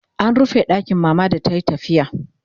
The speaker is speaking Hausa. an rufe ɗakin mama da tayi tafiya